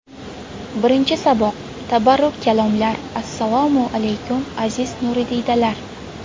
Birinchi saboq: Tabarruk kalomlar Assalomu alaykum, aziz nuridiydalar!